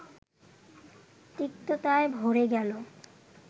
তিক্ততায় ভরে গেল